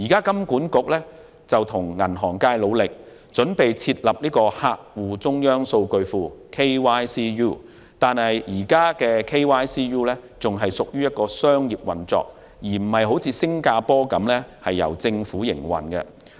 金管局目前正與銀行業界努力，準備設立客戶中央數據庫)，但該 KYCU 現時仍屬商業運作，而非像新加坡般由政府營運。